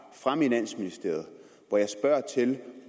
fra finansministeriet